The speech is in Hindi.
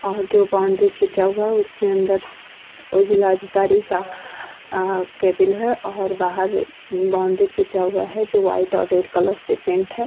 और जो बाउंड्री खींचा हुआ है उसके अंदर वो जिला अधिकारी का आ केबिल है और बाहर बाउंड्री खींचा हुआ है जो व्हाइट और रेड कलर से पेंट है।